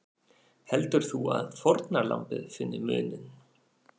Heldur þú að fórnarlambið finni muninn?